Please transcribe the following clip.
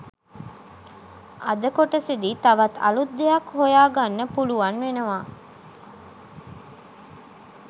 අද කොටසෙදි තවත් අලුත් දෙයක් හොයාගන්න පුලුවන් වෙනවා